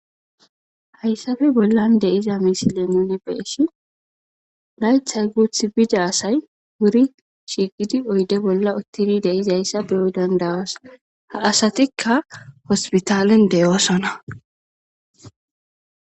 hayssappe bollan de'iza misile nuni beyshin laythay guuth bida asay wuri shigidi oyde bolla uttidi de'izayssa beyo danda'os ha asatika hospitalen de'osona.